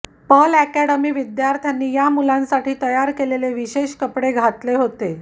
Perl academy विध्यार्थ्यांनी या मुलांसाठी तयार केलेले विशेष कपडे घातले होते